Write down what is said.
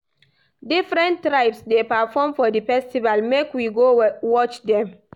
Different tribes dey perform for di festival make we go watch dem.